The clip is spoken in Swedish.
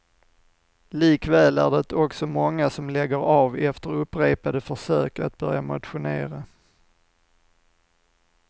Likväl är det också många som lägger av efter upprepade försök att börja motionera.